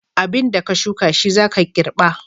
Abin da ka shuka shi za ka girɓa.